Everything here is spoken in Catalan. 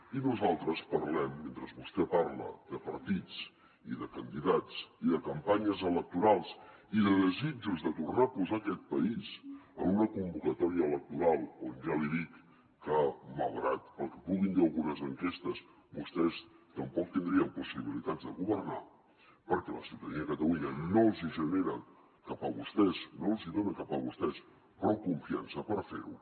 i nosaltres parlem mentre vostè parla de partits i de candidats i de campanyes electorals i de desitjos de tornar a posar aquest país en una convocatòria electoral on ja li dic que malgrat el que puguin dir algunes enquestes vostès tampoc tindrien possibilitats de governar perquè la ciutadania de catalunya no els hi genera cap a vostès no els hi dona cap a vostès prou confiança per fer ho